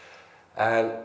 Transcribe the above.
en